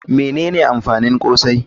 Menene amfanin akra?